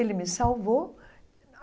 Ele me salvou.